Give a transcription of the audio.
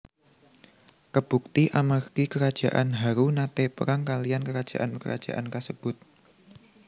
Kabukti amargi kerajaan Haru naté perang kaliyan kerajaan kerajaan kasebut